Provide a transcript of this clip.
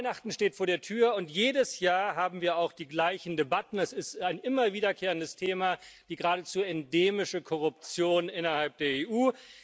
Weihnachten steht vor der Tür, und jedes Jahr haben wir auch die gleichen Debatten. Es ist ein immer wiederkehrendes Thema, die geradezu endemische Korruption innerhalb der EU.